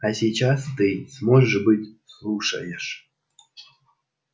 а сейчас ты может быть послушаешь